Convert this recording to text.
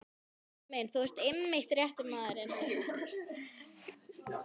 Gamli minn, þú ert einmitt rétti maðurinn.